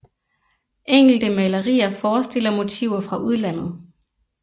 Enkelte malerier forestiller motiver fra udlandet